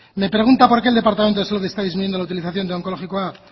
me pregunta por qué el departamento de salud está disminuyendo la utilización de onkologikoa